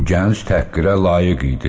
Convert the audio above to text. Bu gənc təhqirə layiq idi.